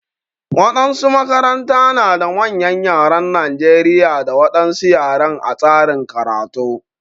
Waɗansu makaranta na da manyan ƴaren Najeriƴa da wadansu ƴaren a tsarin karatu.